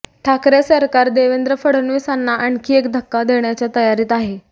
ठाकरे सरकार देवेंद्र फडणवीसांना आणखी एक धक्का देण्याच्या तयारीत आहे